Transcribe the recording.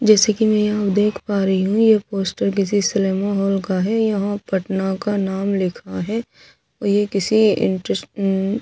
जैसे की में यहाँ देख पा रही हूँ ये पोस्टर किसी सिनेमा हॉल का है यहाँ पटना का नाम लिखा है और ये किसी इंटरेस्ट अम्म्म --